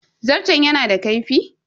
Zarton yana da kaifi?